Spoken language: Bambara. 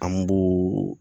An b'o